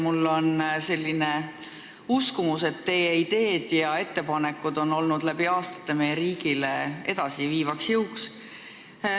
Mul on selline uskumus, et teie ideed ja ettepanekud on olnud läbi aastate meie riiki edasiviivaks jõuks.